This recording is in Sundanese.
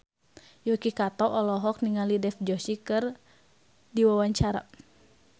Yuki Kato olohok ningali Dev Joshi keur diwawancara